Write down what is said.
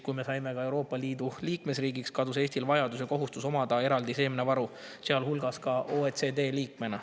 Kui me saime Euroopa Liidu liikmesriigiks, kadus Eestil vajadus ja kohustus omada eraldi seemnevaru, sealhulgas ka OECD liikmena.